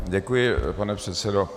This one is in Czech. Děkuji, pane předsedo.